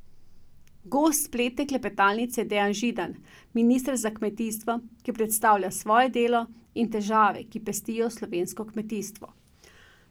Gost spletne klepetalnice je Dejan Židan, minister za kmetijstvo, ki predstavlja svoje delo in težave, ki pestijo slovensko kmetijstvo.